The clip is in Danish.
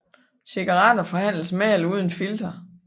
Cigaretter forhandles med eller uden filter